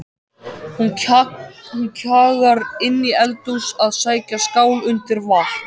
Hún kjagar inn í eldhús að sækja skál undir vatn.